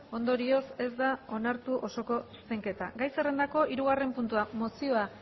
ondorioz ez da onartu osoko zuzenketa gai zerrendako hirugarren puntua mozioa